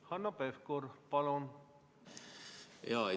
Hanno Pevkur, palun!